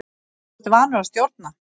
Þú ert vanur að stjórna.